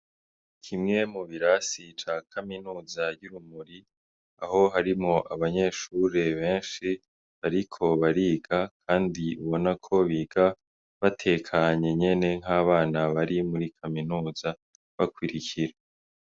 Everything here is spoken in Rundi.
Kimwe mu birasi ca Kaminuza y'Urumuri, aho harimwo abanyeshure benshi bariko bariga, kandi ubona ko biga batekanye nyene nk'abana bari muri Kaminuza, bakurikira.